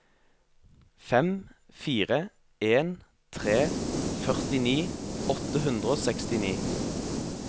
fem fire en tre førtini åtte hundre og sekstini